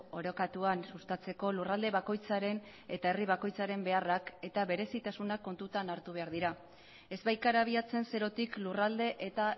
orekatuan sustatzeko lurralde bakoitzaren eta herri bakoitzaren beharrak eta berezitasunak kontutan hartu behar dira ez baikara abiatzen zerotik lurralde eta